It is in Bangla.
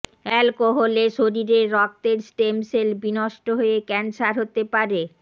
অ্যালকোহল শরীরের রক্তের স্টেম সেল বিনষ্ট হয়ে ক্যান্সার হতে পারে